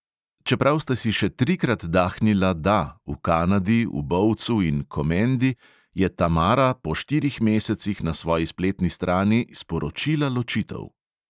Čeprav sta si še trikrat dahnila "da", v kanadi, v bovcu in komendi, je tamara po štirih mesecih na svoji spletni strani sporočila ločitev!